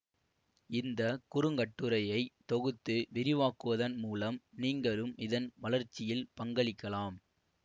இந்த குறுங்கட்டுரையை தொகுத்து விரிவாக்குவதன் மூலம் நீங்களும் இதன் வளர்ச்சியில் பங்களிக்கலாம்